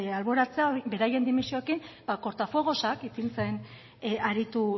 alboratzea beraien dimisioekin kortafuegozak ipintzen aritu